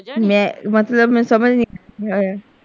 ਮੈਂ ਮਤਲਬ ਮੈਨੂੰ ਸਮਝ ਨਹੀਂ ਆਇਆ।